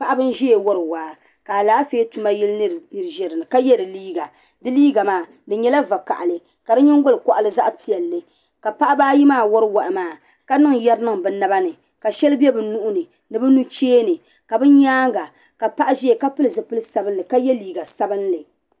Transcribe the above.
Paɣiba nziya n wari waa ka alaafee tuma yilinima zi dini ka ye di liiga di liiga maa di nyala vakahili kadi nyingoli koɣli zaɣpɛli .ka paɣba ayimaa wari wahi maa. ka niŋ yari niŋ bi naba ni kasheli bɛ nuhi ni nibi nucheeni kabi nyaaŋa ka paɣ' zaya kapili zipili sabinli ka ye liiga sabinli